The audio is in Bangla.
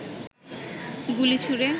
গুলি ছুঁড়ে